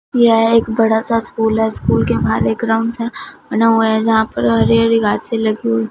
यह एक बड़ा सा स्कूल है स्कूल के बाहर एक ग्राउंड है बना हुआ है जहां पर हरी हरी घासे लगी हुई--